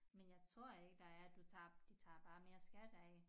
Men jeg tror ikke der er du tager de tager bare mere skat af